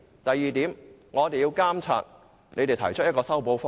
第二點，我們要監察有關方面提出的修補方案。